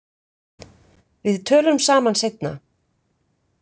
Við tölum saman seinna.